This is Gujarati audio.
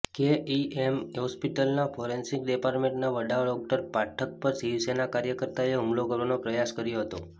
કેઈએમ હોસ્પિટલના ફોરેન્સિક ડિપાર્ટમેન્ટના વડા ડોક્ટર પાઠક પર શિવસેના કાર્યકર્તાઓએ હુમલો કરવાનો પ્રયાસ કર્યો હતો